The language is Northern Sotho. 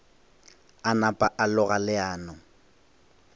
a napa a loga leano